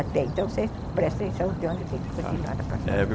Então, você presta atenção de onde tem que continuar na próxima vez.